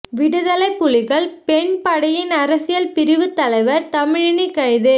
விடுதலைப் புலிகள் பெண் படையின் அரசியல் பிரிவுத் தலைவர் தமிழினி கைது